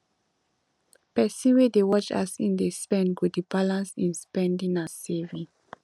pesin wey dey watch as im dey spend go dey balance im spending and saving